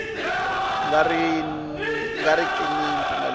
nga ri ki ni mpfumelelo